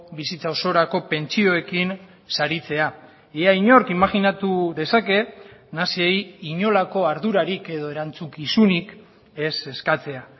bizitza osorako pentsioekin saritzea ia inork imajinatu dezake naziei inolako ardurarik edo erantzukizunik ez eskatzea